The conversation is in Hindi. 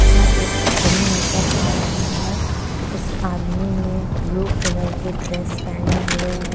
यहाँ एक आदमी नजर आ रहा है। इस आदमी ने ब्लू कलर की ड्रेस पहने हुए है।